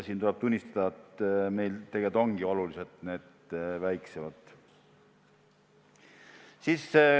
Tuleb tunnistada, et meil on need tegelikult oluliselt väiksemad.